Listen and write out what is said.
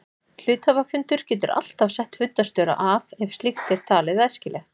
Hluthafafundur getur alltaf sett fundarstjóra af ef slíkt er talið æskilegt.